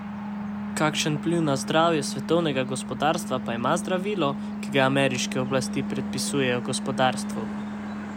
Kakšen vpliv na zdravje svetovnega gospodarstva pa ima zdravilo, ki ga ameriške oblasti predpisujejo gospodarstvu?